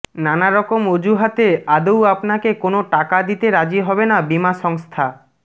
নানারকম অজুহাতে আদৌ আপনাকে কোনো টাকা দিতে রাজি হবে না বিমা সংস্থা